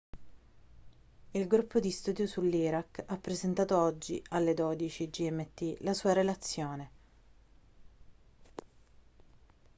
il gruppo di studio sull'iraq ha presentato oggi alle 12.00 gmt la sua relazione